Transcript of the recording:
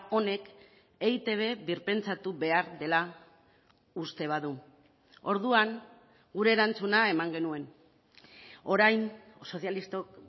honek eitb birpentsatu behar dela uste badu orduan gure erantzuna eman genuen orain sozialistok